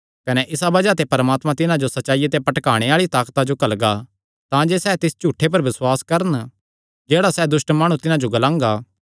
कने इसा बज़ाह ते परमात्मा तिन्हां जो सच्चाईया ते भटकाणे आल़ी ताकता जो घल्लगा तांजे सैह़ तिस झूठ पर बसुआस करन जेह्ड़ा सैह़ दुष्ट माणु तिन्हां जो ग्लांगा